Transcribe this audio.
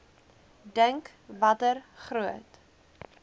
dink watter groot